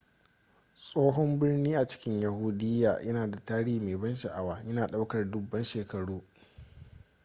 tsohon birni a cikin yahudiya yana da tarihi mai ban sha'awa yana ɗaukar dubban shekaru